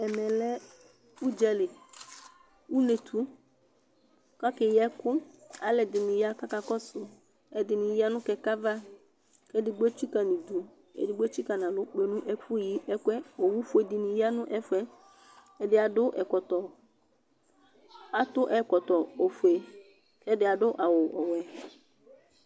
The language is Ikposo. ɛmɛ lɛ udza li, unetu, kake yi ɛku alu ɛdini ya kaka kɔsu, ɛdini ya nu kɛkɛ ava , ku edigbo etsika nu idu , edigbo etsika nu alɔ kpe nu ɛfu yi ɛku yɛ, owu fue dini ya nu ɛfuɛ, ɛdi adu ɛkɔtɔ, atu ɛkɔtɔ fue k'ɛdi adu ɛkɔtɔ ɔwɛ